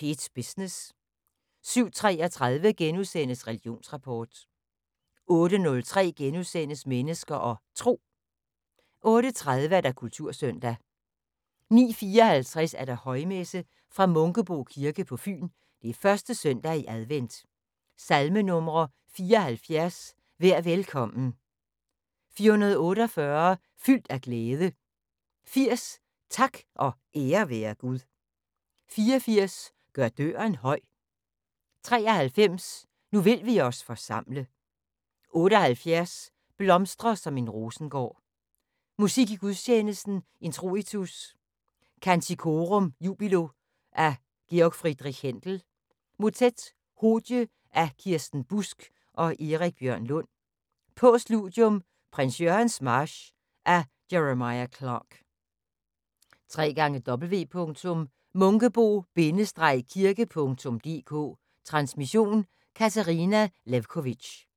P1 Business * 07:33: Religionsrapport * 08:03: Mennesker og Tro * 08:30: Kultursøndag 09:54: Højmesse - fra Munkebo Kirke på Fyn. 1. søndag i advent. Salmenumre: 74: "Vær velkommen". 448: "Fyldt af glæde". 80: "Tak og ære være Gud". 84: "Gør døren høj". 93: "Nu vil vi os forsamle". 78: "Blomstre som en rosengård". Musik i gudstjenesten: Introitus: "Canticorum jubilo" af G.F. Händel. Mottet: "Hodie" af Kirsten Busk og Erik Bjørn Lund. Postludium: "Prins Jørgens march" af Jeremiah Clarke. www.munkebo-kirke.dk Transmission: Katarina Lewkovitch.